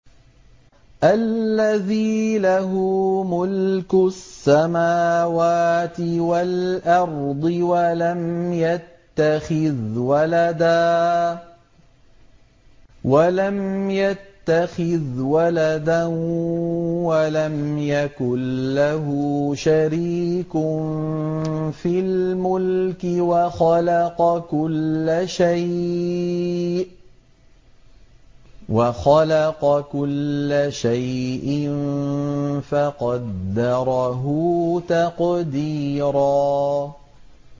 الَّذِي لَهُ مُلْكُ السَّمَاوَاتِ وَالْأَرْضِ وَلَمْ يَتَّخِذْ وَلَدًا وَلَمْ يَكُن لَّهُ شَرِيكٌ فِي الْمُلْكِ وَخَلَقَ كُلَّ شَيْءٍ فَقَدَّرَهُ تَقْدِيرًا